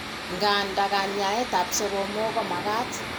Ng'anda, kanyaet ab soromok ko magaat